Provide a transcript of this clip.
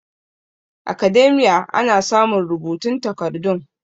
academia ana samun rubutun takardun